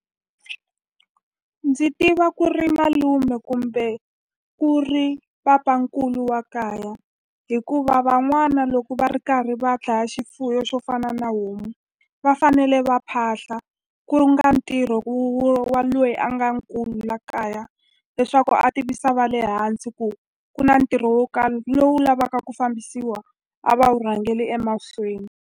Ndzi tiva ku ri malume kumbe ku ri papankulu wa kaya hikuva van'wana loko va ri karhi va dlaya xifuyo xo fana na homu va fanele va phahla ku ntirho wa loyi a nga nkulu la kaya leswaku a tivisa va le hansi ku ku na ntirho wo karhi lowu lavaka ku fambisiwa a va wu rhangeli emahlweni.